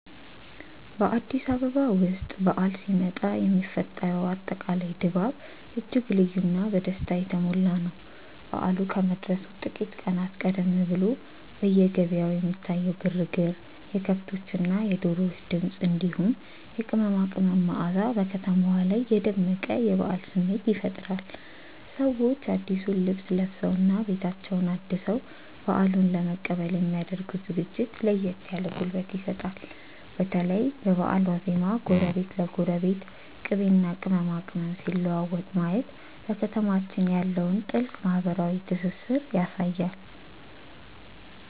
በአዲስ አበባ ውስጥ በዓል ሲመጣ የሚፈጠረው አጠቃላይ ድባብ እጅግ ልዩና በደስታ የተሞላ ነው። በዓሉ ከመድረሱ ጥቂት ቀናት ቀደም ብሎ በየገበያው የሚታየው ግርግር፣ የከብቶችና የዶሮዎች ድምፅ፣ እንዲሁም የቅመማ ቅመም መዓዛ በከተማዋ ላይ የደመቀ የበዓል ስሜት ይፈጥራል። ሰዎች አዲሱን ልብስ ለብሰውና ቤታቸውን አድሰው በዓሉን ለመቀበል የሚ ያደርጉት ዝግጅት ለየት ያለ ጉልበት ይሰጣል። በተለይ በበዓል ዋዜማ ጎረቤት ለጎረቤት ቅቤና ቅመማ ቅመም ሲለዋወጥ ማየት በከተማችን ያለውን ጥልቅ ማህበራዊ ትስስር ያሳያል።